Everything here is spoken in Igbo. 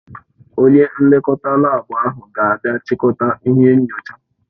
Onye nlekọta laabu ahụ ga-abịa chịkọta ihe nyochaa.